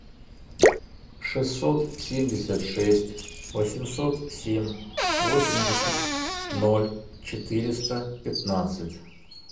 шестьсот семьдесят шесть восемьсот семь восемьдесят ноль четыреста пятнадцать